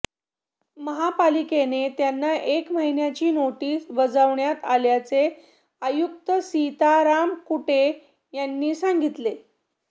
महापालिकेने त्यांना एक महिन्याची नोटीस बजावण्यात आल्याचे आयुक्त सीताराम कुंटे यांनी सांगितले